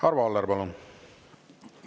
Arvo Aller, palun!